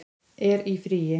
er í fríi